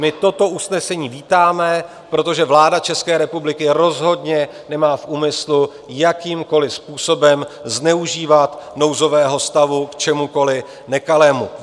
My toto usnesení vítáme, protože vláda České republiky rozhodně nemá v úmyslu jakýmkoliv způsobem zneužívat nouzového stavu k čemukoliv nekalému.